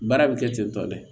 Baara bɛ kɛ ten tɔ dɛ